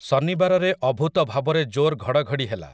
ଶନିବାରରେ ଅଭୁତ ଭାବରେ ଜୋର୍‌ ଘଡ଼ଘଡ଼ି ହେଲା ।